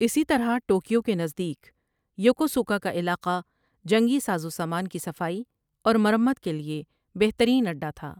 اِسی طرح ٹوکیو کے نزدیک یوکوسوکا کا علاقہ جنگی سازو سامان کی صفائی اور مرمت کے لیے بہترین اڈا تھا ۔